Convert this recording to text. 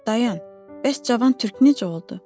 Dayan, bəs cavan türk necə oldu?